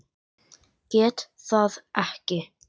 Get það ekki.